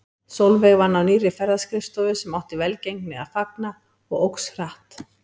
Sólveig vann á nýrri ferðaskrifstofu sem átti velgengni að fagna og óx hratt.